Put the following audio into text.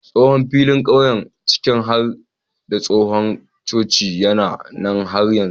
Tsohon filin ƙauye ciki har da tsohon coci yana nan har yanzu.